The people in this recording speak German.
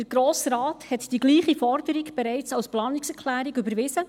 – Der Grosse Rat hat die gleiche Forderung bereits als Planungserklärung überwiesen;